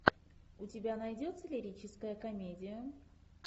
у тебя найдется лирическая комедия